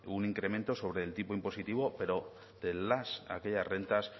un incremento sobre el tipo impositivo pero de las aquellas rentas